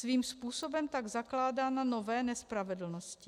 Svým způsobem tak zakládá na nové nespravedlnosti.